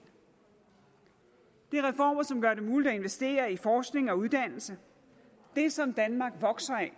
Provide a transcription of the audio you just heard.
det er reformer som gør det muligt at investere i forskning og uddannelse det som danmark vokser af